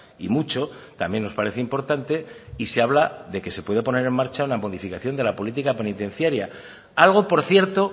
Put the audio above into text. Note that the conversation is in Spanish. y mucho también nos parece importante y se habla de que se puede poner en marcha la modificación de la política penitenciaria algo por cierto